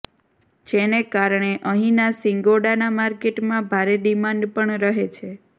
જેને કારણે અહીંના શિંગોડાના માર્કેટમાં ભારે ડિમાન્ડ પણ રહે છે